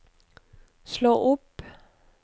slå opp